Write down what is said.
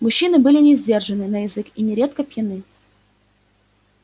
мужчины были несдержанны на язык и нередко пьяны